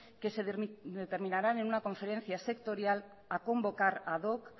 que se determinarán en una conferencia sectorial a convocar ad hoc